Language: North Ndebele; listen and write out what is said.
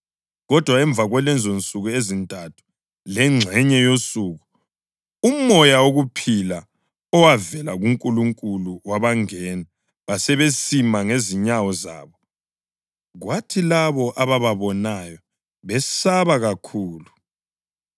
Kodwa emva kwalezonsuku ezintathu lengxenye yosuku umoya wokuphila owavela kuNkulunkulu wabangena, basebesima ngezinyawo zabo, kwathi labo abababonayo besaba kakhulu.